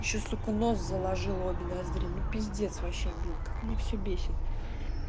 ещё сука нос заложило обе ноздри ну пиздец вообще блин как меня все бесит